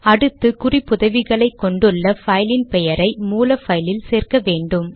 அடுத்து குறிப்புதவிகளை கொண்டுள்ள பைலின் பெயரை மூல பைலில் சேர்க்க வேண்டும்